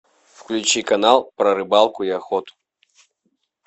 включи канал про рыбалку и охоту